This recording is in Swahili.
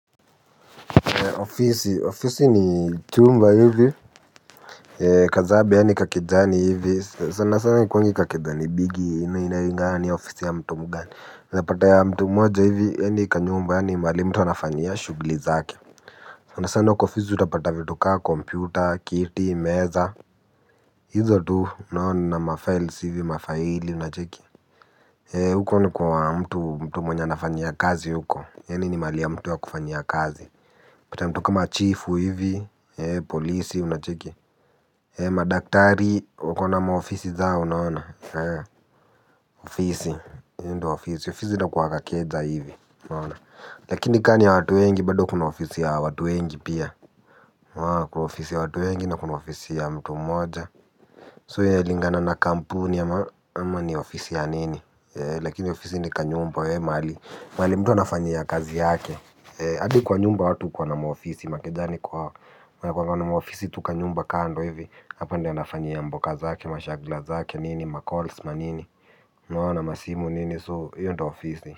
Ofisi, ofisi ni chumba hivi Kazabe yaani kakejani hivi sana sana haikuangi kakejani bigi inalingana ni ofisi ya mtu mgani unaezapata ya mtu mmoja hivi ya ni kanyumba yaani mahali mtu anafanyia shugli zake. Sana sana kwa ofisi utapata vitu ka kompyuta kiti meza. Hizo tu naona na mafaili hivi mafaili unacheki. Huko ni kwa mtu mtu mwenye anafanyia kazi huko. Yaani ni mahali ya mtu ya kufanyia kazi. Pata mtu kama chifu hivi, polisi, unacheki. Madaktari, wakona maofisi zao, unaona. Ofisi, hii ndio ofisi, ofisi inakuwa kakeja hivi, unaona. Lakini kani ya watu wengi, bado kuna ofisi ya watu wengi pia. Kuna ofisi ya watu wengi, na kuna ofisi ya mtu mmoja So inalingana na kampuni, ama ni ofisi ya nini. Lakini ofisi ni kanyumba, ya mahali mahali mtu anafanyia kazi yake. Adi kwa nyumba watu ukuwa na maofisi makejani kwao wanakuanga na maofisi tukanyumba kando hivi. Hapa ndio anafanyia mboka zake mashagla zake nini macalls manini unaona masimu nini so hiyo ndo ofisi.